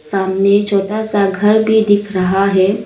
सामने छोटा सा घर भी दिख रहा है।